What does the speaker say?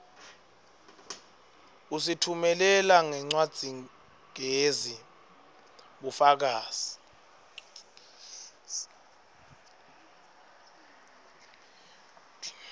usitfumelela ngencwadzigezi bufakazi